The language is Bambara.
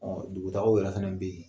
Ɔn dugu tagaw yɛrɛ fɛnɛ be yen.